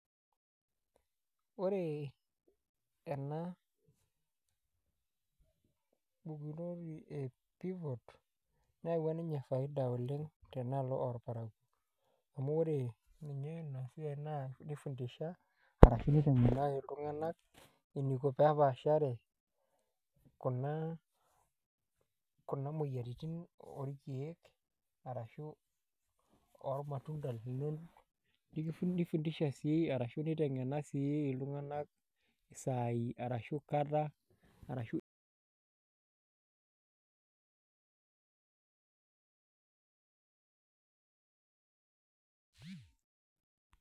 Ore ena pukunoti e pivot neyaua ninye faida oleng' tenaalo orparakuo amu ore ninye ina siai nifundisha arashu niteng'ena iltung'anak eniko pee epaashare kuna moyiaritin orkeek ashu ormatunda linonok nifundisha sii arashu iteng'ena sii iltung'anak isaai arashu kata arashu.